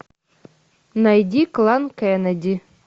найди клан кеннеди